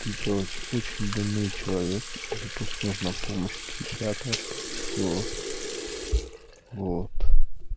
ты короче очень больной человек и тебе просто нужна помощь психиатра скорее всего вот